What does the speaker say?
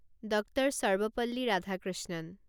Doctor. Sarvepalli Radhakrishnan